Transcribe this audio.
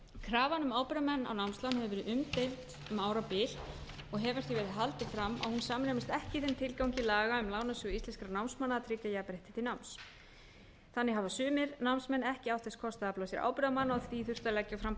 krafan um ábyrgðarmenn á námslán hefur verið umdeild um árabil og hefur því verið haldið fram að hún samræmist ekki þeim tilgangi laga um lánasjóð íslenskra námsmanna að tryggja jafnrétti til náms þannig hafa sumir námsmenn ekki átt þess kost að afla sér ábyrgðarmanna og því þurft að leggja fram